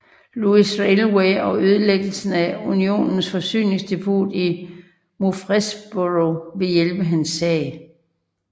Louis Railway og ødelæggelsen af Unionens forsyningsdepot i Murfreesboro ville hjælpe hans sag